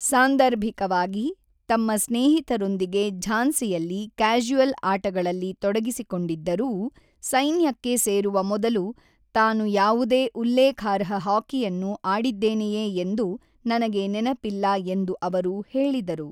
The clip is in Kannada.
ಸಾಂದರ್ಭಿಕವಾಗಿ ತಮ್ಮ ಸ್ನೇಹಿತರೊಂದಿಗೆ ಝಾನ್ಸಿಯಲ್ಲಿ ಕ್ಯಾಶುಯಲ್ ಆಟಗಳಲ್ಲಿ ತೊಡಗಿಸಿಕೊಂಡಿದ್ದರೂ, ಸೈನ್ಯಕ್ಕೆ ಸೇರುವ ಮೊದಲು ತಾನು ಯಾವುದೇ ಉಲ್ಲೇಖಾರ್ಹ ಹಾಕಿಯನ್ನು ಆಡಿದ್ದೇನೆಯೇ ಎಂದು ನನಗೆ ನೆನಪಿಲ್ಲ ಎಂದು ಅವರು ಹೇಳಿದರು.